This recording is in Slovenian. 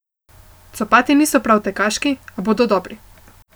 Copati niso prav tekaški, a bodo dobri.